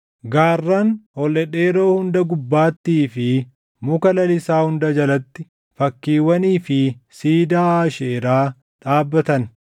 Gaarran ol dhedheeroo hunda gubbaattii fi muka lalisaa hunda jalatti fakkiiwwanii fi siidaa Aasheeraa dhaabbatan.